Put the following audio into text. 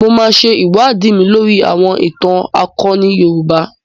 Mo máa ṣe iṣẹ́ ìwádìí lóri àwọn ìtàn akoni Yorùbá.